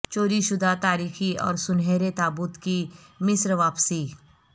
چوری شدہ تاریخی اور سنہرے تابوت کی مصر واپسی